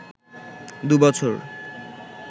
দুবছর